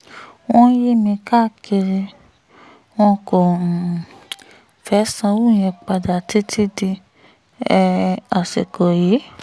wọ́n ń yí mi káàkiri wọn kò um fẹ́ẹ́ sanwó yẹn padà títí di um àsìkò yìí